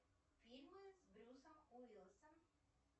фильмы с брюсом уиллисом